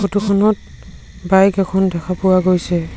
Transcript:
Photo খনত bike এখন দেখা পোৱা গৈছে।